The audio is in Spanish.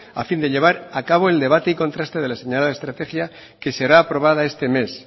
a fin de llevar a cabo el debate y contraste de la señalada estrategia que será aprobada este mes